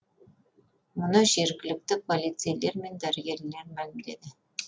мұны жергілікті полицейлер мен дәрігерлер мәлімдеді